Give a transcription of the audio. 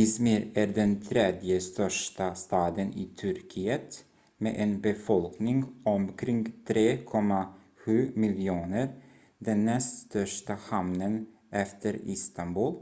i̇zmir är den tredje största staden i turkiet med en befolkning omkring 3,7 miljoner den näst största hamnen efter istanbul